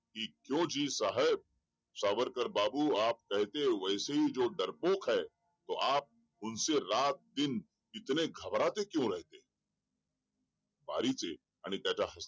क्यों जी साहब सावरकर बाबू आप कहते है वैसे हि जो डरपोक है तो आप उन्हसे रात दिन इतने घबरते क्यों रहते है बारि के आणि त्यांच्या